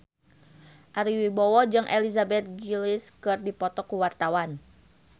Ari Wibowo jeung Elizabeth Gillies keur dipoto ku wartawan